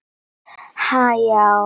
Ég sé að þú ert óvön því að missa tökin.